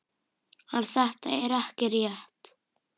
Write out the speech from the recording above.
En þetta er ekki rétt.